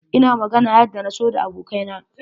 Ina magana yadda na so da abokai na.